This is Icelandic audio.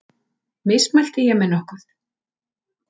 Mismælti ég mig nokkuð?